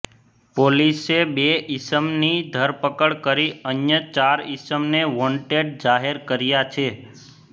પોલીસે બે ઇસમની ધરપકડ કરી અન્ય ચાર ઇસમને વોંટેડ જાહેર કર્યા છે